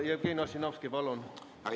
Jevgeni Ossinovski, palun!